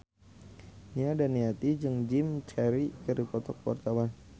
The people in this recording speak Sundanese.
Nia Daniati jeung Jim Carey keur dipoto ku wartawan